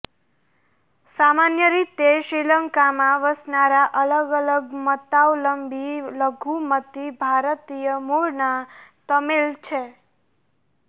સામાન્ય રીતે શ્રીલંકામાં વસનારા અલગ અલગ મતાવલંબી લઘુમતી ભારતીય મુળનાં તમિલ છે